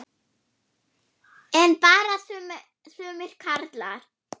hváði hann.